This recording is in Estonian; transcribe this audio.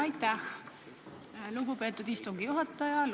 Aitäh, lugupeetud istungi juhataja!